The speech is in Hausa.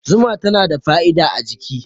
Zuma tana da fa'ida a jiki